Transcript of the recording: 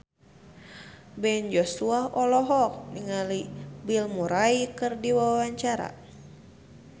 Ben Joshua olohok ningali Bill Murray keur diwawancara